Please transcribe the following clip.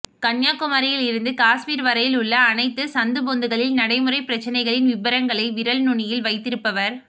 கன்னியாக்குமரியில் இருந்து காஷ்மீர் வரையில் உள்ள அத்தனை சந்து பொந்துகளின் நடைமுறை பிரச்சனைகளின் விபரங்களை விரல் நுணியில் வைத்திருப்பவர்